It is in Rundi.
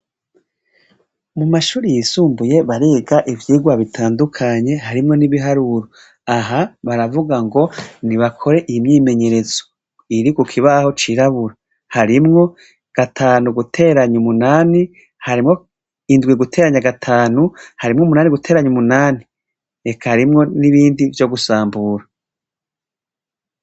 Mu mashuri yisumbuye bariga ivyirwa bitandukanye harimwo n'ibiharuro aha baravuga ngo ni bakore imyimenyerezo iri ku kibaho c'irabura harimwo gatanu guteranya umunani harimwo indwe guteranya gatanu harimwo umunani guteranya umunani harimwo n'ibindi vyo gusambura.